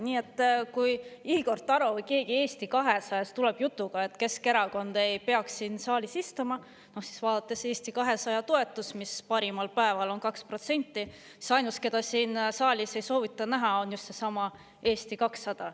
Nii et kui Igor Taro või keegi Eesti 200-st tuleb jutuga, et Keskerakond ei peaks siin saalis istuma, siis vaadates Eesti 200 toetust, mis parimal päeval on 2%, ainus, keda siin saalis ei soovita näha, on just seesama Eesti 200.